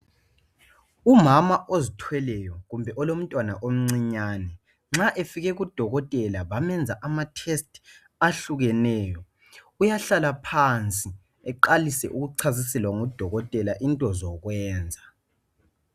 Umama ozithweleyo kumbe olomntwana omncinyane nxa efike kudokotela bamenza amatest ahlukeneyo uyahlala phansi uqalise ukuchasiselwa ngudokotela into zokwenza